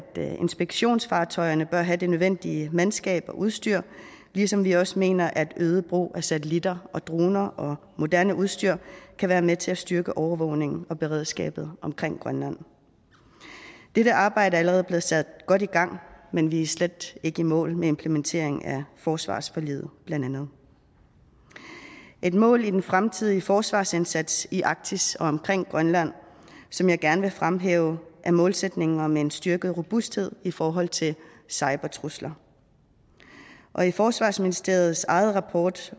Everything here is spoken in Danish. inspektionsfartøjerne bør have det nødvendige mandskab og udstyr ligesom vi også mener at en øget brug af satellitter og droner og moderne udstyr kan være med til at styrke overvågningen og beredskabet omkring grønland dette arbejde er allerede blevet sat godt i gang men vi er slet ikke i mål med implementeringen af forsvarsforliget blandt andet et mål i den fremtidige forsvarsindsats i arktis og omkring grønland som jeg gerne vil fremhæve er målsætningen om en styrket robusthed i forhold til cybertrusler og i forsvarsministeriets egen rapport